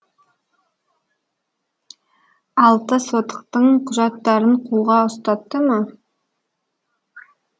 алты сотықтың құжаттарын қолға ұстатты ма